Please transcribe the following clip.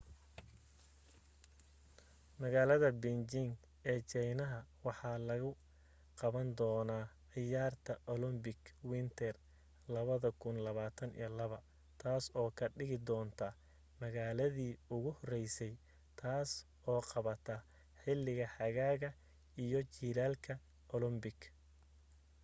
magaalada beijing ee china waxaa lagu qaban doona ciyaarta olympic winter 2022 taas oo ka dhigi doonta magaladi ugu horeysay taas oo qabata xiliga xagaaga iyo jilaalka olympic